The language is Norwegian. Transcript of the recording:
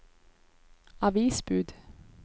avisbud